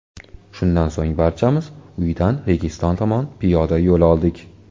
Shundan so‘ng barchamiz uydan Registon tomon piyoda yo‘l oldik.